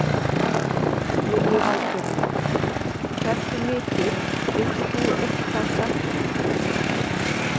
Lillý Valgerður: Hversu mikið, getur þú eitthvað sagt okkur?